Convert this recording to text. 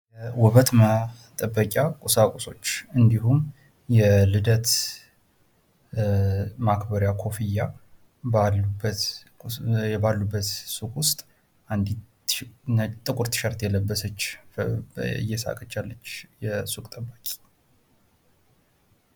የሥራ ፈጠራ ወጣቶች አዳዲስ የንግድ ሀሳቦችን በመፍጠር የሥራ ዕድልን በማስፋት ለኢኮኖሚ እድገት አስተዋጽኦ ያደርጋሉ።